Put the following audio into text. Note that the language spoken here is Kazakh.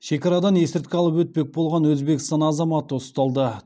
шекарадан есірткі алып өтпек болған өзбекстан азаматы ұсталды